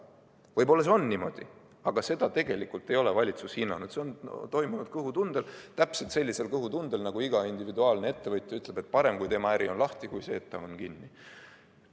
Võib-olla see on niimoodi, aga tegelikult ei ole valitsus seda hinnanud, see on toimunud kõhutundel – täpselt sellisel kõhutundel, nagu iga individuaalne ettevõtja ütleb, et parem, kui tema äri on lahti, kui see, et see on kinni.